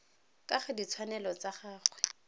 ka ga ditshwanelo tsa gagwe